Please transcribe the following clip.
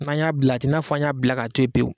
N'a y'a bila a tɛ n'a fɔ an y'a bila k'a to yen pewu.